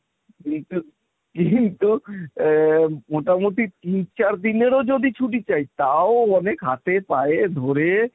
কিন্তু কিন্তু আ মোটামুটি তিন চার দিনেরও যদি ছুটি চাই তাও অনেক হাতে পায়ে ধরে,